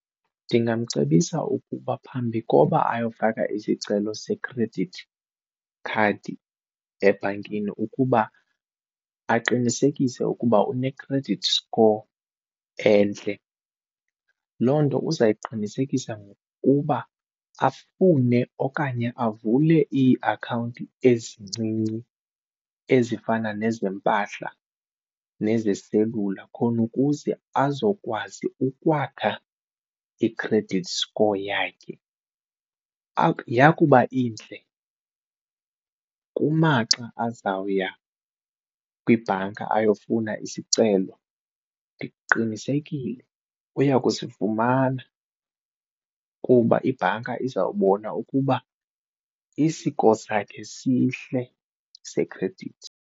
Ndingamcebisa ukuba phambi koba ayofaka isicelo se-credit card ebhankini ukuba aqinisekise ukuba une-credit score entle. Loo nto uza kuyiqinisekisa ngokuba afune okanye avule iiakhawunti ezincinci ezifana nezempahla nezeselula khona ukuze azokwazi ukwakha i-credit score yakhe. Yakuba intle kumaxa azawuya kwibhanka ayofuna isicelo. Ndiqinisekile uya kusifumana kuba ibhanka izawubona ukuba i-score sakhe sihle sekhredithi.